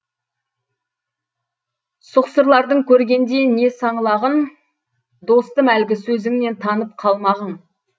сұқсырлардың көргенде не саңлағын достым әлгі сөзіңнен танып қалмағын